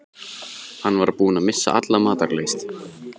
Hann var búinn að missa alla matar lyst.